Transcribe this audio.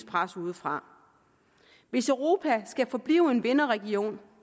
pres udefra hvis europa skal forblive en vinderregion